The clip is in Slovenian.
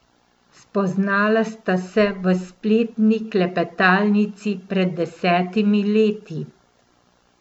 Spoznala sta se v spletni klepetalnici pred desetimi leti.